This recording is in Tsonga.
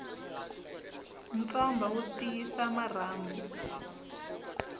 ntswamba wu tiyisa marhambu